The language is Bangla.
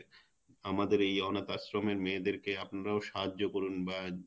আমাদের এই অনাথ আশ্রমের মেয়েদের আপনারাও সাহায্য করুন বা